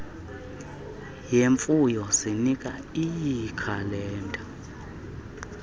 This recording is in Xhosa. yemfuyo zinika iikhalenda